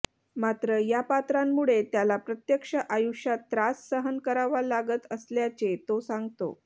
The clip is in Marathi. मात्र या पात्रांमुळे त्याला प्रत्यक्ष आयुष्यात त्रास सहन करावा लागत असल्यााचे तो सांगतो